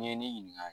N'i ye ne ɲininka